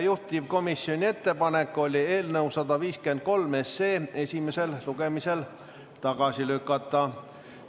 Juhtivkomisjoni ettepanek oli eelnõu 153 esimesel lugemisel tagasi lükata.